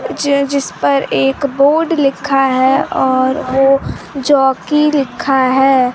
ज जिसपर एक बोर्ड लिक्खा है और वो जॉकी लिक्खा है।